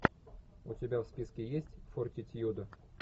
у тебя в списке есть фортитьюда